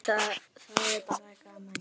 Það er bara gaman.